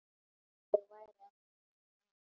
Ég væri ekki svona ein.